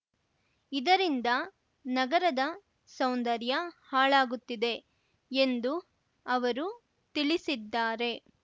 ಇದರಿಂದ ನಗರದ ಸೌಂದರ್ಯ ಹಾಳಾಗುತ್ತಿದೆ ಎಂದು ಅವರು ತಿಳಿಸಿದ್ದಾರೆ